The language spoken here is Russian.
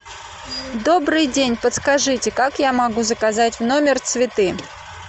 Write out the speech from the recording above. добрый день подскажите как я могу заказать в номер цветы